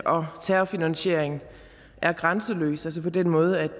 og terrorfinansiering er grænseløs altså på den måde at